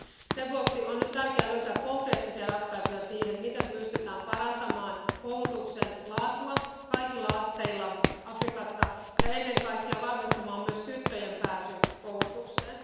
Sen vuoksi on nyt tärkeää löytää konkreettisia ratkaisuja siihen, miten pystytään parantamaan koulutuksen laatua kaikilla asteilla Afrikassa ja ennen kaikkea varmistamaan myös tyttöjen pääsy koulutukseen.